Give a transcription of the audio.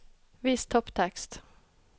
Vis topptekst